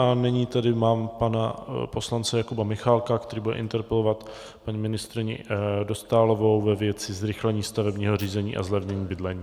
A nyní tady mám pana poslance Jakuba Michálka, který bude interpelovat paní ministryni Dostálovou ve věci zrychlení stavebního řízení a zlevnění bydlení.